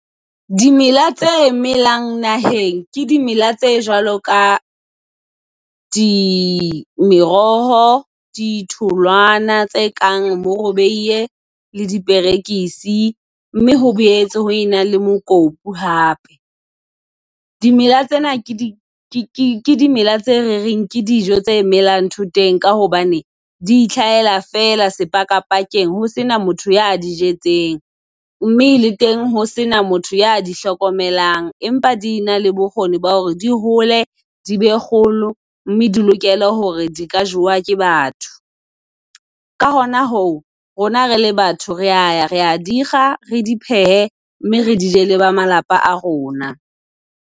Dimela tse melang naheng ke dimela tse jwalo ka di meroho, ditholwana tse kang bo le diperekisi, mme ho boetse ho ena le mokopu hape. Dimela tsena ke di ke ke ke dimela tse re reng ke dijo tse melang thoteng ka hobane di itlhahela fela sepakapakeng ho sena motho ya di jetseng, mme le teng ho sena motho ya di hlokomelang empa di na le bokgoni ba hore di hole di be kgolo mme di lokele hore di ka jwa ke batho. Ka hona hoo, rona re le batho rea ya rea di kga re di pehe mme re di je leba malapa a rona.